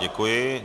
Děkuji.